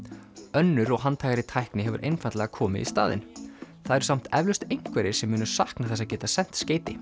önnur og handhægari tækni hefur einfaldlega komið í staðinn það eru samt eflaust einhverjir sem munu sakna þess að geta sent skeyti